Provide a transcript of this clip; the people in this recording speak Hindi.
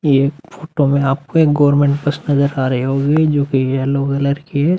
ये फोटो में आपको एक गवर्मेंट बस नजर आ रही होगी जोकि येलो कलर की है।